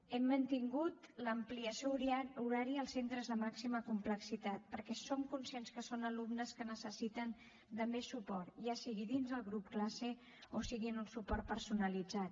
hem mantingut l’ampliació horària als centres de màxima complexitat perquè som conscients que són alumnes que necessiten de més suport ja sigui dins el grup classe o sigui en un suport personalitzat